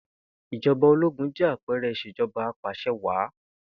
Ìj̩o̩ba ológun jé̩ àpe̩e̩re̩ ìs̩èjo̩ba apàs̩ewàá